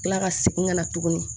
Kila ka segin ka na tuguni